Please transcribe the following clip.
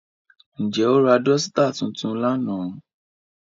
Njẹ o ra dosita tuntun lánà?